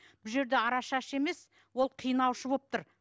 бұл жерде арашашы емес ол қинаушы болып тұр